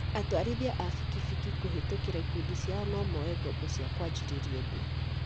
Atwarithia a bikibiki kũhĩtũkĩra ikundi ciao nomoe ngombo cia kwanjĩrĩrira ũndũ